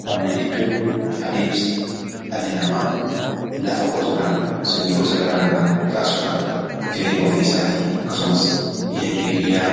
Qonna jechuun adeemsa dhalli namaa lafa qotuudhaan, sanyii gosa garaa garaa facaasuudhaan jireenya ofii isaatii akkasumas diinagdee biyyaa